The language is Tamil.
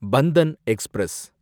பந்தன் எக்ஸ்பிரஸ்